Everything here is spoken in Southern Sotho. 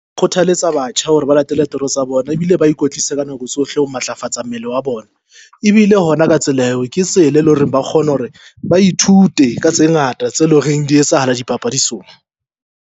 Kgothaletsa batjha hore ba latele toro tsa bona ebile ba ikwetlisa ka nako tsohle ho matlafatsa mmele wa bona. Ebile hona ka tsela eo, ke tsela e leng hore ba kgona hore ba ithute ka tse ngata tse loreng di etsahala dipapadisong.